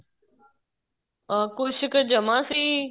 ਅਹ ਕੁੱਛ ਕ ਜਮਾ ਸੀ